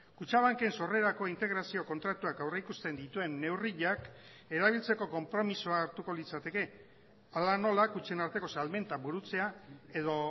kutxabanken sorrerako integrazio kontratuak aurrikusten dituen neurriak erabiltzeko konpromisoa hartuko litzateke hala nola kutxen arteko salmenta burutzea edo